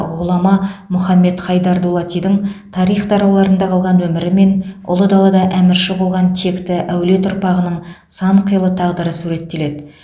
ғұлама мұхаммед хайдар дулатидың тарих тарауларында қалған өмірі мен ұлы далада әмірші болған текті әулет ұрпағының сан қилы тағдыры суреттеледі